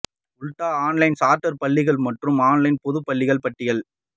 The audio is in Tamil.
உட்டா ஆன்லைன் சார்ட்டர் பள்ளிகள் மற்றும் ஆன்லைன் பொது பள்ளிகள் பட்டியல்